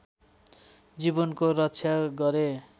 जीवनको रक्षा गरे